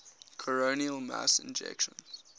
coronal mass ejections